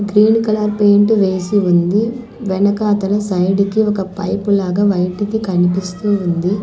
Green colour paint వేసి ఉంది వెనకాతల సైడ్ కి ఒక పైప్ లాగా వైట్ ది కనిపిస్తూ ఉంది.